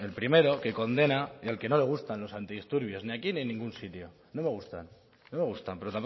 primero que condena y al que no le gustan los antidisturbios ni aquí ni en ningún sitio no me gustan pero